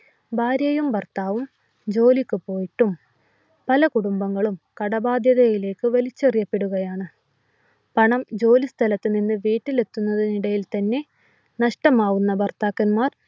ഭാര്യയും ഭർത്താവും ജോലിക്ക് പോയിട്ടും പല കുടുംബങ്ങളും കടബാധ്യതയിലേക്ക് വലിച്ചെറിയപ്പെടുകയാണ്. പണം ജോലിസ്ഥലത്തുനിന്ന് വീട്ടിലെത്തുന്നതിന് ഇടയിൽ തന്നെ നഷ്ടമാകുന്ന ഭർത്താക്കന്മാർ